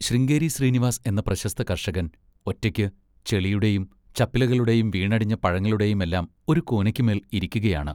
ശൃംഗേരി ശ്രീനിവാസ് എന്ന പ്രശസ്ത കർഷകൻ ഒറ്റയ്ക്ക് ചെളിയുടെയും ചപ്പിലകളുടെയും വീണടിഞ്ഞ പഴങ്ങളുടെയുമെല്ലാം ഒരു കൂനയ്ക്കുമേൽ ഇരിക്കുകയാണ്!